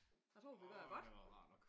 Jeg tror vi har gjort det godt